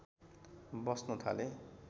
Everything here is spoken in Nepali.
बस्न थाले